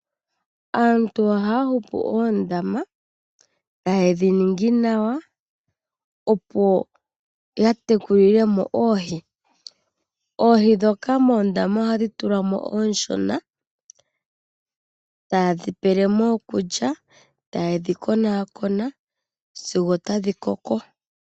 Aantu ohaya hupu oondama tayedhi ningi nawa opo yatekulilemo oohi. Oohi dhoka moondama ohadhi tulwamo oonshona, tayedhi pelemo okulya, tayedhi konakona sigo otadhi koko.